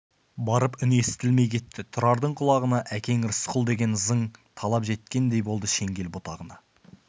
барып үні естілмей кетті тұрардың құлағына әкең рысқұл деген ызың талып жеткендей болды шеңгел бұтағына